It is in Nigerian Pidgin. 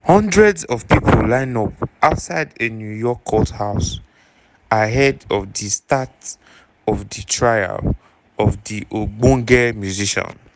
hundreds of pipo line up outside a new york courthouse ahead of di start of di trial of di ogbonge musician.